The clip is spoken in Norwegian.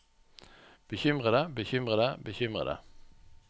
bekymrede bekymrede bekymrede